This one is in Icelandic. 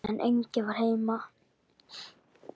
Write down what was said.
En enginn var heima.